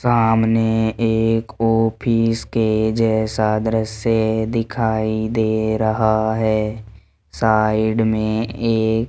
सामने एक ऑफिस के जैसा दृश्य दिखाई दे रहा है साइड में ये --